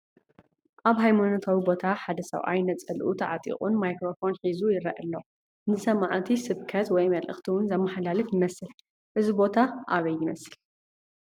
ኣብ ሃይማኖታዊ ቦታ ሓደ ሰብኣይ ነፀልኡ ተዓጢቑን ማይክረፎን ሒዙ ይረአ ኣሎ፡፡ ንሰማዕቲ ስብከት ወይ መልእኽቲ ውን ዘማሕልፍ ይመስል፡፡ እዚ ቦታ ኣበይ ይመስል?